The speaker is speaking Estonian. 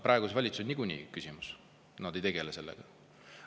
Praeguses valitsuses niikuinii on küsimus, nad ei tegele sellega.